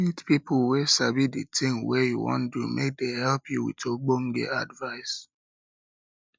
meet pipo wey sabi the thing wey you wan do make dem help you with ogbonge advice